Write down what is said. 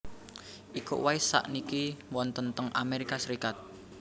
Iko Uwais sakniki wonten teng Amerika Serikat